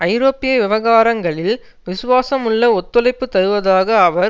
ஐரோப்பிய விவகாரங்களில் விசுவாசமுள்ள ஒத்துழைப்பு தருவதாக அவர்